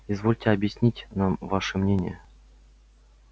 извольте объяснить нам ваше мнение